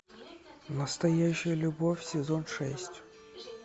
настоящая любовь сезон шесть